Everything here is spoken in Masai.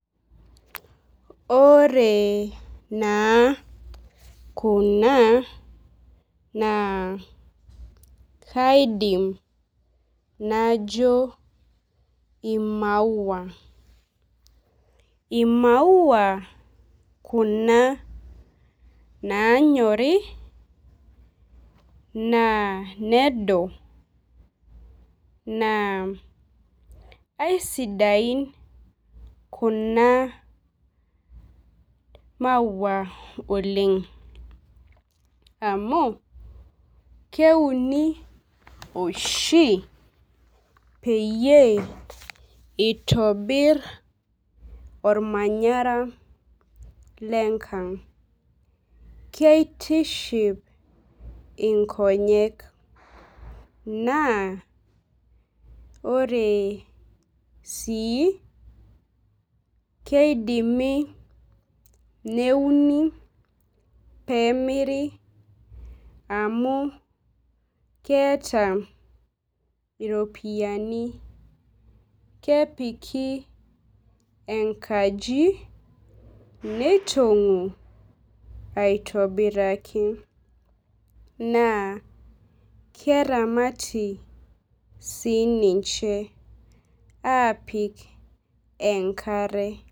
Ore naa kuna naa kaidim najo ii maua. Ii maua kuna nanyorii naa nedo naa aisidain kuna maua oleng' amu keuni oshii peyie itobir ormanyara lekang' . Keitiship inkonyek naa ore sii keidimi neuni pemiri amuu keeta iropiani. Kepiki enkaji neitong'u aitobiraki. Naa keramatii sii ninche apik enkare.